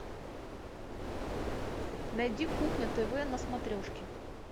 найди кухня тв на смотрешке